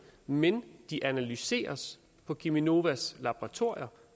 men de analyseres på cheminovas laboratorier